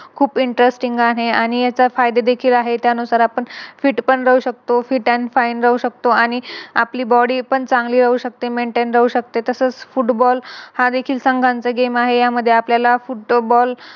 खूप Interesting आहे आणि याचे फायदे देखील आहे त्यानुसार आपण Fit पण राहू शकतो Fit and fine राहू शकतो आणि आपली Body पण चांगली राहू शकते Maintained राहू शकते. तसेच Football हा देखील चांगला Game आहे. यामध्ये आपल्याला Football